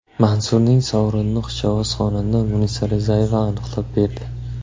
Mansurning sovrinini xushovoz xonanda MunisaRizayeva aniqlab berdi.